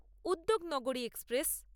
উদ্যোগ নাগরী এক্সপ্রেস